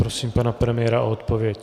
Prosím pana premiéra o odpověď.